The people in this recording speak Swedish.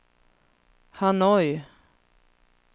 Hanoi